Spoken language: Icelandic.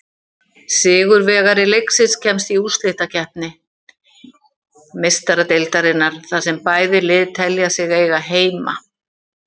Sigurvegari leiksins kemst í útsláttarkeppni Meistaradeildarinnar, þar sem bæði lið telja sig eiga heima.